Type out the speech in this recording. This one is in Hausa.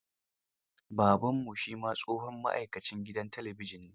Babanmu shi ma tsohon ma'aikacin gidan talabijin ne.